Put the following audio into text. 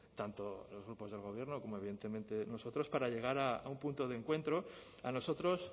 tanto los grupos del gobierno como evidentemente nosotros para llegar a un punto de encuentro a nosotros